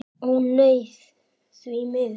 Ó nei, því miður ekki.